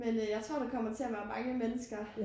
Men øh jeg tror der kommer til at være mange mennesker